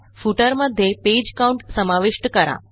footer मध्ये page Countसमाविष्ट करा